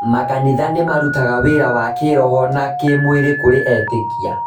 Makanitha nĩ marutaga wĩra wa kĩĩroho na kĩĩmwĩrĩ kũrĩ etĩkia.